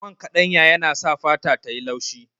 Man kaɗanya yana sa fata tayi laushi